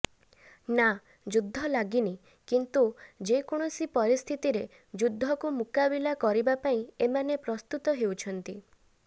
ନାଁ ଯୁଦ୍ଧ ଲାଗିନି କିନ୍ତୁ ଯେ କୌଣସି ପରିସ୍ଥିତିରେ ଯୁଦ୍ଧକୁ ମୁକାବିଲା କରିବା ପାଇଁ ଏମାନେ ପ୍ରସ୍ତୁତ ହେଉଛନ୍ତି